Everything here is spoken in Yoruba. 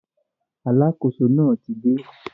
Alákóso náà ti dé